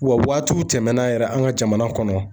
Wa waatiw tɛmɛnan yɛrɛ an ka jamana kɔnɔ